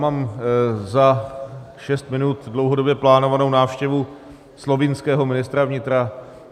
Mám za šest minut dlouhodobě plánovanou návštěvu slovinského ministra vnitra.